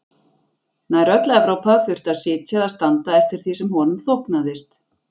Nær öll Evrópa þurfti að sitja eða standa eftir því sem honum þóknaðist.